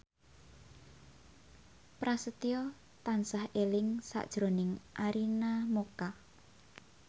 Prasetyo tansah eling sakjroning Arina Mocca